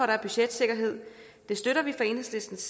der er budgetsikkerhed støtter vi fra enhedslistens